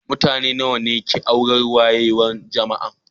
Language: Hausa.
Mutane nawa ne ke a' naúrar wayewan Jama'an?